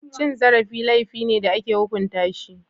Cin zarafi laifi ne da ake hukunta shi.